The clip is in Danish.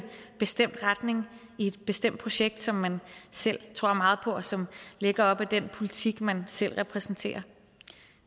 bestemt retning i et bestemt projekt som man selv tror meget på og som ligger op ad den politik man selv repræsenterer